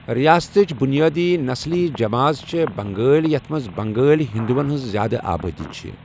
رِیاستٕچ بُنیٲدی نسلی چمٲژ چھےٚ بنٛگٲلۍ، یَتھ منٛز بنٛگٲلۍ ہِنٛدووَن ہٕنٛز زِیٛادٕ آبٲدی چھَ۔